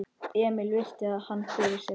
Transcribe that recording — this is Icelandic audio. Emil virti hann fyrir sér.